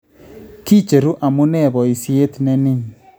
Kicheruu amune boisiet ne nin